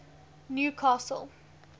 newcastle